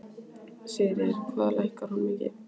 Sigríður: Hvað lækkar hún mikið?